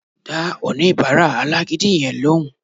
Dá oníbàárà alágídí yẹn lóhùn